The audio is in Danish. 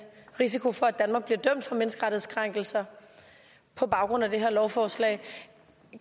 risiko for at danmark bliver dømt for menneskerettighedskrænkelser på baggrund af det her lovforslag